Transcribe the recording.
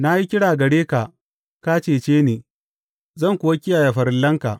Na yi kira gare ka; ka cece ni zan kuwa kiyaye farillanka.